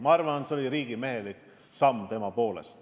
Ma arvan, et see oli riigimehelik samm.